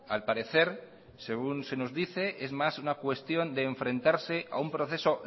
al parecer según se nos dice es más una cuestión de enfrentarse a un proceso